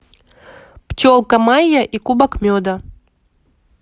пчелка майя и кубок меда